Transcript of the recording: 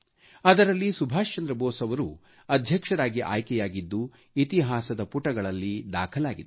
ಅದರಲ್ಲಿ ಸುಭಾಷ್ ಚಂದ್ರ ಭೋಸ್ ಅವರು ಅಧ್ಯಕ್ಷರಾಗಿ ಆಯ್ಕೆಯಾಗಿದ್ದು ಇತಿಹಾಸದ ಪುಟಗಳಲ್ಲಿ ದಾಖಲಾಗಿದೆ